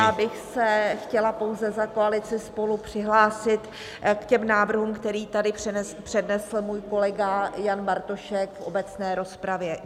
Já bych se chtěla pouze za koalici SPOLU přihlásit k těm návrhům, které tady přednesl můj kolega Jan Bartošek v obecné rozpravě.